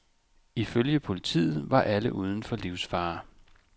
Ifølge politiet var alle uden for livsfare.